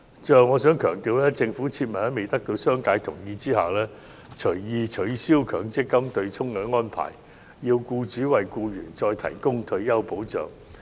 最後，我想強調政府切勿在未得到商界同意下隨意取消強積金對沖安排，要僱主為僱員再提供退休保障。